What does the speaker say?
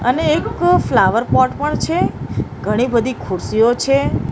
અને એક flower pot પણ છે ઘણી-બધી ખુરસીઓ છે.